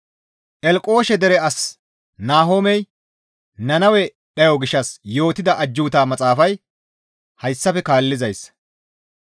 Elqoshe dere as Nahomey Nannawe dhayo gishshas yootida ajjuuta maxaafay hayssafe kaallizayssa.